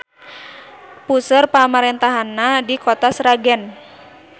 Puseur pamarentahannana di Kota Sragen.